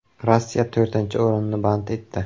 Rossiya to‘rtinchi o‘rinni band etdi.